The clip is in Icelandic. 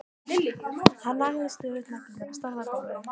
Hann nagaði stöðugt neglurnar og starði á gólfið.